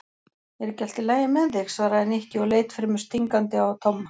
Er ekki allt lagi með þig? svaraði Nikki og leit fremur stingandi á Tomma.